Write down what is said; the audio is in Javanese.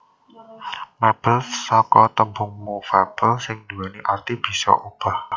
Mébel saka tembung movable sing duwéni arti bisa obah